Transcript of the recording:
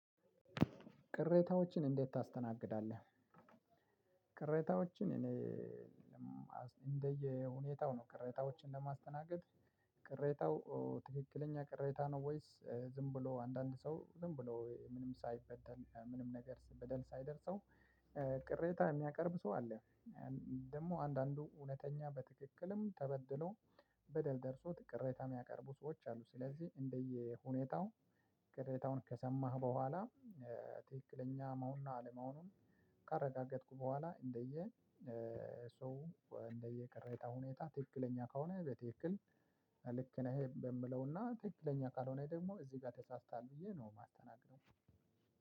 ቅሬታዎችን እንዴት ታስተናግዳለህ? ቅሬታዎችን እኔ ነው ቅሬታዎችን ለማስተናገድ ቅሬታው ትክክለኛ ቅሬታ ነው። ወይስ ዝም ብሎ አንዳንድ ሰው ዝም ብሎ ምንም ሳይበደል ምንም ነገር በደል ሳይደርሰው። ቅሬታ የሚያቀርብ ሰው አለ። ደግሞ አንዳንዱ እውነተኛ በትክክልም ተበድሎ በደል ደርሶት ቅሬታ የሚያቀርቡ ሰዎች አሉ። ስለዚህ እንደየሁኔታው ቅሬታውን ከሰማህ በኋላ ትክክለኛ መሆኑን አለመሆኑን ካረጋገጥኩ በኋላ እንደየ ሰው እንደየቅሬታው ሁኔታ ትክክለኛ ከሆነ በትክክል ልክ ነህ። የምለውና ትክክለኛ ካልሆነ ደግሞ እዚህ ጋር ተሳስታለሁ ብዬ ነው የማስተናግደው።